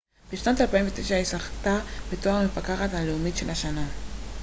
בשנת 2009היא זכתה בתואר המפקחת הלאומית של השנה